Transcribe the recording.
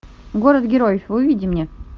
город героев выведи мне